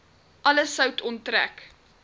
alle sout onttrek